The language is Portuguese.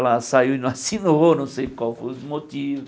Ela saiu e não assinou, não sei qual foi o motivo.